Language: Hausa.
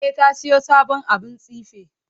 E, ta siyo sabon abun tsife.